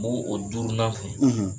N b'oo o duurunan fɛ.